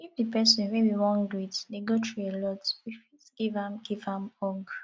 if di person wey we wan greet dey go through alot we fit give am give am hug